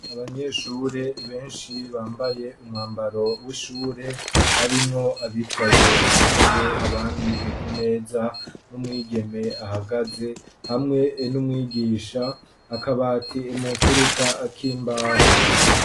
Abanyeshure benshi bambaye umwambaro w'ishure harimwo abicaye ku ntebe abandi ku meza n'umwigeme ahagaze hamwe n'umwigisha akabati mumfuruka kimbaho.